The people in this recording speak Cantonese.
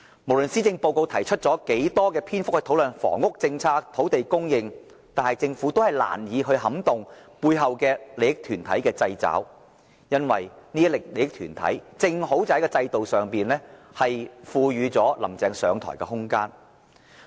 無論施政報告提出多少篇幅討論房屋政策、土地供應，但政府都難以擺脫背後利益團體的制肘，因為這些利益團體正好在制度上賦予"林鄭"上台的空間。